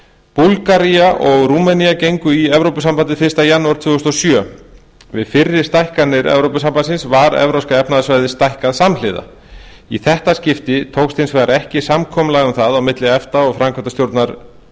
búlgaría og rúmenía gengu í evrópusambandið fyrsta janúar tvö þúsund og sjö við fyrri stækkanir evrópusambandsins var evrópska efnahagssvæðið stækkað samhliða í þetta skipti tókst hins vegar ekki samkomulag um það á milli efta og framkvæmdastjórnar